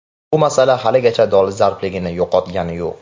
Bu masala haligacha dolzarbligini yo‘qotgani yo‘q.